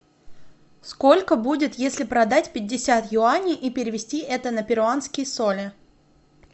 сколько будет если продать пятьдесят юаней и перевести это на перуанские соли